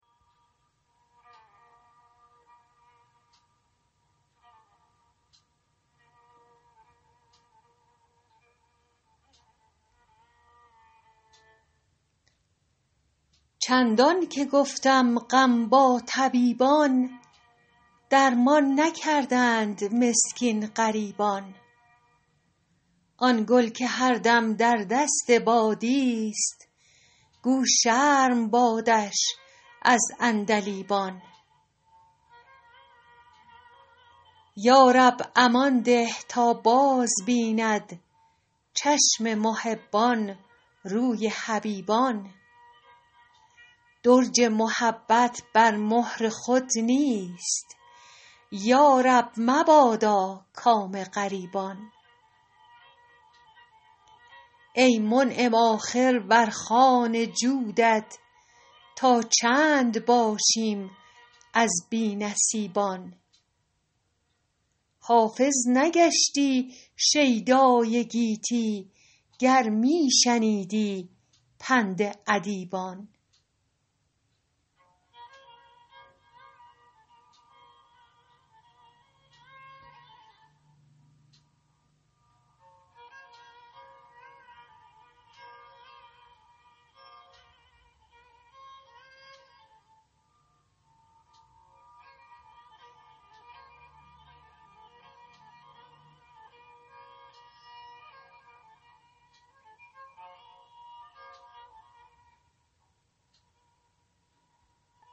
چندان که گفتم غم با طبیبان درمان نکردند مسکین غریبان آن گل که هر دم در دست بادیست گو شرم بادش از عندلیبان یا رب امان ده تا بازبیند چشم محبان روی حبیبان درج محبت بر مهر خود نیست یا رب مبادا کام رقیبان ای منعم آخر بر خوان جودت تا چند باشیم از بی نصیبان حافظ نگشتی شیدای گیتی گر می شنیدی پند ادیبان